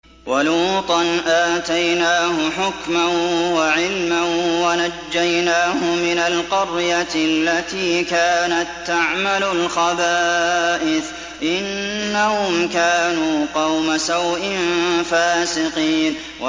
وَلُوطًا آتَيْنَاهُ حُكْمًا وَعِلْمًا وَنَجَّيْنَاهُ مِنَ الْقَرْيَةِ الَّتِي كَانَت تَّعْمَلُ الْخَبَائِثَ ۗ إِنَّهُمْ كَانُوا قَوْمَ سَوْءٍ فَاسِقِينَ